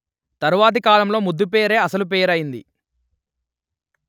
తరువాతి కాలంలో ముద్దుపేరే అసలు పేరయింది